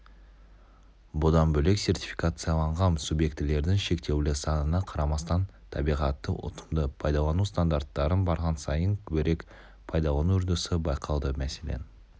бұдан бөлек сертификацияланған субъектілердің шектеулі санына қарамастан табиғатты ұтымды пайдалану стандарттарын барған сайын көбірек пайдалану үрдісі байқалды мәселен